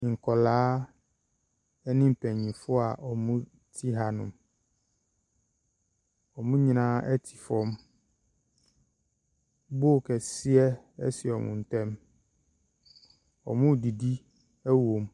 Nkwadaa ne mpanimfoɔ a wɔte hanom. Wɔn nyinaa te fam. Bowl kɛseɛ si wɔn ntam. Wɔredidi wɔ mu.